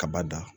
Kaba dan